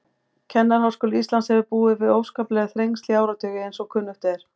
Kennaraháskóli Íslands hefur búið við óskapleg þrengsli í áratugi, eins og kunnugt er.